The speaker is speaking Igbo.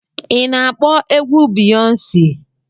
Ị na-akpọ egwu Biyọnsi?